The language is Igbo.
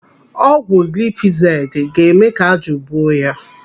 Ọgwụ gilipizaidi ga-eme ka ájụ̀ buo ya.